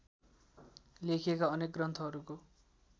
लेखिएका अनेक ग्रन्थहरूको